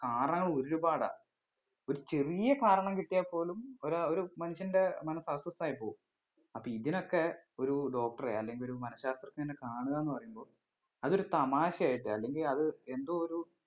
കാരണം ഒരുപാടാ ഒരു ചെറിയ കാരണം കിട്ടിയാൽ പോലും ഒര് ഒരു മനുഷ്യന്റെ മനസ്സ് അസ്വസ്ഥമായിപോകും അപ്പൊ ഇതിനൊക്കെ ഒരു doctor എ അല്ലെങ്കിൽ ഒരു മനശാസ്ത്രജ്ഞനെ കാണുക പറയുമ്പോ അത് ഒരു തമാശ ആയിട്ട് അല്ലെങ്കിൽ അത് എന്തോ ഒരു